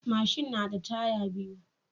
Mashin nada taya biyu